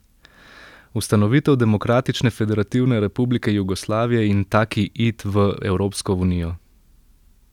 Ustanovitev Demokratične Federativne Republike Jugoslavije in taki it v Evropsko unijo.